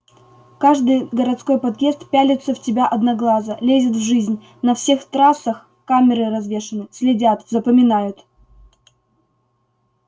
каждый городской подъезд пялится в тебя одноглазо лезет в жизнь на всех трассах камеры развешаны следят запоминают